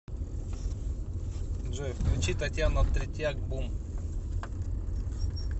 джой включи татьяна третьяк бум